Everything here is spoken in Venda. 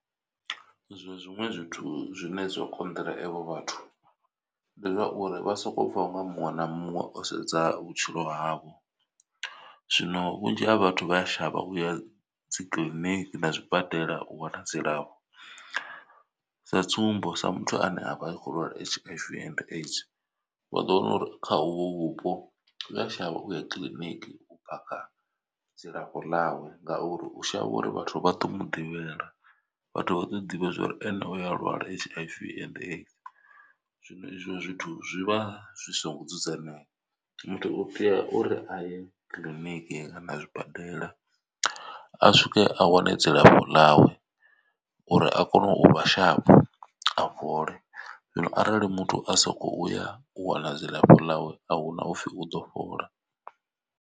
Zwa zwiṅwe zwithu zwine zwa konḓela avho vhathu ndi zwauri vha soko pfha unga muṅwe na muṅwe o sedza vhutshilo havho zwino vhunzhi ha vhathu vha a shavha uya dzikiḽiniki na zwibadela u wana dzilafho. Sa tsumbo sa muthu ane avha a kho lwala H_I_V and AIDS vha ḓo wana uri kha uvho vhupo uya shavha uya kiḽiniki u pakha dzilafho ḽawe. Ngauri u shavha uri vhathu vha ḓo mu ḓivhela vhathu vha ḓo ḓivha zwori ene uya lwala H_I_V and AIDS. Zwino izwo zwithu zwivha zwisingo dzudzanyea muthu u tea uri a ye kiḽiniki kana zwibadela a swike a wane dzilafho ḽawe uri a kone u vha sharp a fhole zwino arali muthu a soko uya u wana dzilafho ḽawe ahuna upfhi u ḓo fhola.